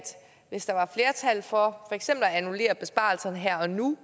hvis der var flertal for for eksempel at annullere besparelserne her og nu